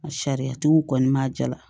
Sariyatigiw kɔni ma jala